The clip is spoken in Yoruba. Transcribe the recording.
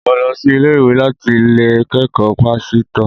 Mo lo sí ilé-iwé láti lo kékòó pásítò